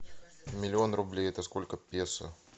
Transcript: миллион рублей это сколько песо